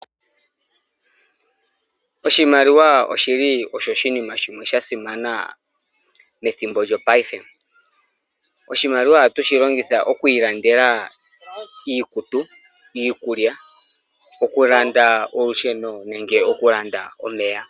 Oshimaliwa oshi li osho oshinima sha simana methimbo lyopaife. Oshimaliwa ohatu shi longitha oku ilandela iikutu, iikulya, okulanda olusheno nenge okulanda omeya.